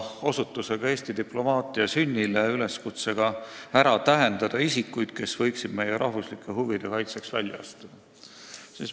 Osutus oli Eesti diplomaatia sünnile üleskutsega tähendada ära isikud, kes võiksid meie rahvuslike huvide kaitseks välja astuda.